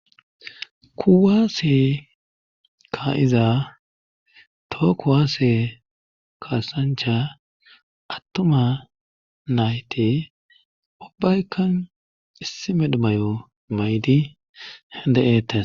kuwaase ka7iza tookuwaase kaasancha attuma nayte ubaykan issime dhumayo maydi hede7eettes